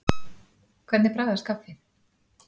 Hvernig bragðast kaffið?